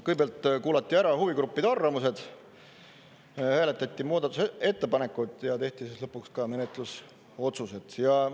Kõigepealt kuulati ära huvigruppide arvamused, hääletati muudatusettepanekuid ja tehti siis lõpuks ka menetlusotsused.